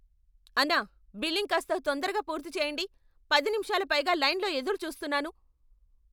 అన్నా, బిల్లింగ్ కాస్త తొందరగా పూర్తి చేయండి! పది నిమిషాల పైగా లైన్లో ఎదురుచూస్తున్నాను.